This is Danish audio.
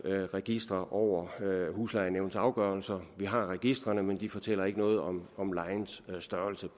registre over huslejenævnenes afgørelser vi har registrene men de fortæller ikke noget om om lejens størrelse